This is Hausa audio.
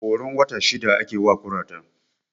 Horon wata shida ake wa kurata